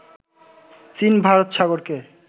চীন ভারত সাগরকে